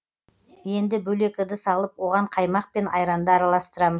енді бөлек ыдыс алып оған қаймақ пен айранды араластырамыз